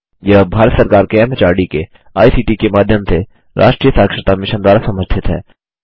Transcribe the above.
यह भारत सरकार के एमएचआरडी के आईसीटी के माध्यम से राष्ट्रीय साक्षरता मिशन द्वारा समर्थित है